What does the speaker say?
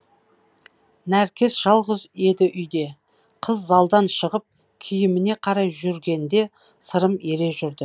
нәркес жалғыз еді үйде қыз залдан шығып киіміне қарай жүргенде сырым ере жүрді